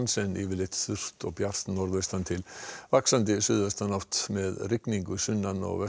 en yfirleitt þurrt og bjart norðaustan til vaxandi suðaustanátt með rigningu sunnan og